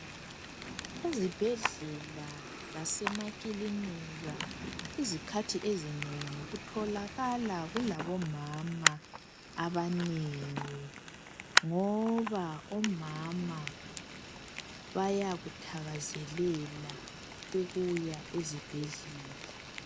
Ezibhedlela lasemakilinika izikhathi ezinengi kutholakala kulabomama abanengi ngoba omama bayakuthakazelela ukuya ezibhedlela.